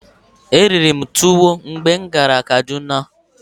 Eriri m tuwo mgbe m gara Kaduna.